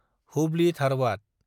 Hubli-Dharwad